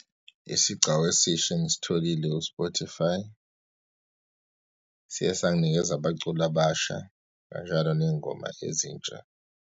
Isigcawu eshisa engisitholile u-Spotify, siye senginikeza abaculi abasha kanjalo neyingoma ezintsha.